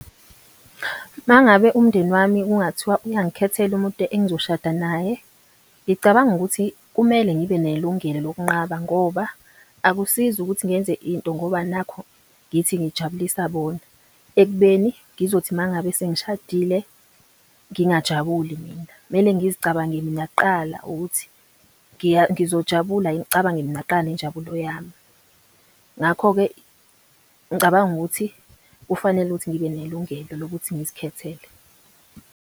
Mangabe umndeni wami kungathiwa uyangikhethela umuntu engizoshada naye, ngicabanga ukuthi kumele ngibe nelungelo lokunqaba ngoba, akusizi ukuthi ngenze into ngoba nakhu ngithi ngijabulisa bona, ekubeni ngizothi mangabe sengishadile, ngingajabuli mina. Kumele ngizicabange mina kuqala ukuthi ngizojabula yini? Kucabange mina kuqala nenjabulo yami. Ngakho-ke ngicabanga ukuthi kufanele ukuthi ngibe nelungelo lokuthi ngizikhethele. khona